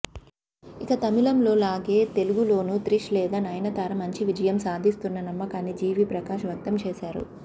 ఇక తమిళంలోలానే తెలుగులోనూ త్రిష్ లేదా నయనతార మంచి విజయం సాధిస్తుందన్న నమ్మకాన్ని జీవి ప్రకాష్ వ్యక్తం చేశారు